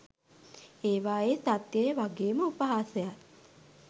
ඒවායේ සත්‍යයය වගේම උපහාසයත්